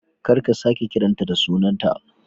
Kar ka sake kiran ta da sunanta